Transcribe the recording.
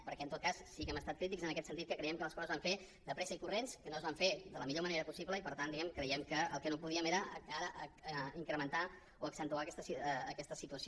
perquè en tot cas sí que hem estat crítics en aquest sentit que creiem que les coses es van fer de pressa i corrents que no es van fer de la millor manera possible i per tant diguem ne creiem que el que no podíem era incrementar o accentuar aquesta situació